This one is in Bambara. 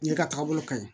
Ne ka taabolo kaɲi